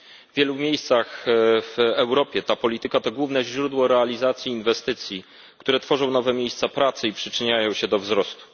W wielu miejscach w Europie ta polityka to główne źródło realizacji inwestycji, które tworzą nowe miejsca pracy i przyczyniają się do wzrostu.